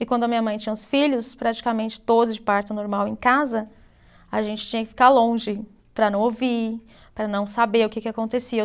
E quando a minha mãe tinha os filhos, praticamente todos de parto normal em casa, a gente tinha que ficar longe para não ouvir, para não saber o que que acontecia.